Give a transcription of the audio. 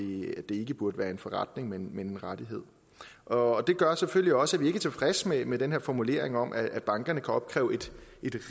ikke burde være en forretning men en rettighed og det gør selvfølgelig også at vi ikke er tilfredse med med den her formulering om at bankerne kan opkræve et